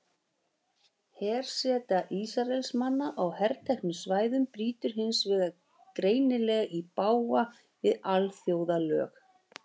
Herseta Ísraelsmanna á herteknu svæðunum brýtur hins vegar greinilega í bága við alþjóðalög.